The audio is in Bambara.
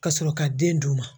Ka sɔrɔ ka den d'u ma